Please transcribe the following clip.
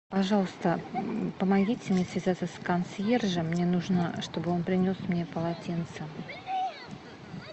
пожалуйста помогите мне связаться с консьержем мне нужно чтобы он принес мне полотенце